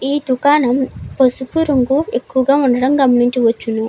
ఈ దుకాణం పసుపు రంగు ఎక్కువగా ఉండటం గమనించవచ్చును.